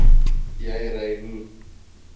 jy ry hoe